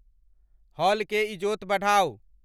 hall के ईजोत बढ़ाऊं